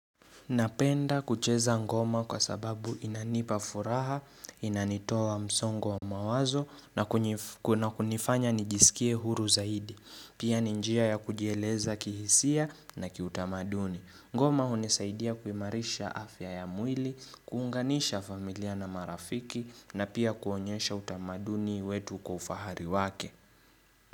Napenda kucheza ngoma kwa sababu inanipa furaha, inanitoa msongo wa mawazo na kunifanya nijisikie huru zaidi. Pia ni njia ya kujieleza kihisia na kiutamaduni. Ngoma hunisaidia kuimarisha afya ya mwili, kuunganisha familia na marafiki na pia kuonyesha utamaduni wetu kwa ufahari wake.